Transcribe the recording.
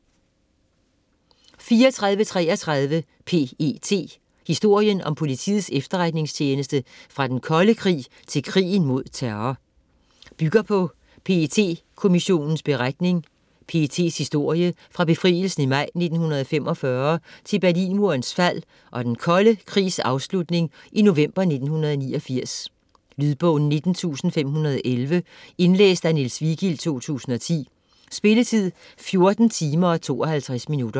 34.33 PET: historien om Politiets Efterretningstjeneste fra den kolde krig til krigen mod terror Bygger på PET-Kommissionens beretning. PETs historie fra befrielsen i maj 1945 til Berlinmurens fald og den kolde krigs afslutning i november 1989. Lydbog 19511 Indlæst af Niels Vigild, 2010. Spilletid: 14 timer, 52 minutter.